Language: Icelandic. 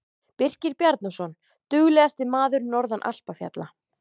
Birkir Bjarnason- Duglegasti maður norðan alpafjalla.